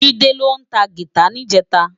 Jide ló tá gitá nijètá